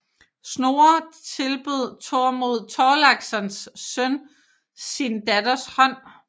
Snorres tilbød Thormod Thorlakssons søn sin datters hånd